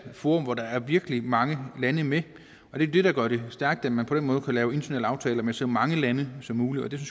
forum hvor der er virkelig mange lande med det der gør det stærkt er at man på den måde kan lave internationale aftaler med så mange lande som muligt det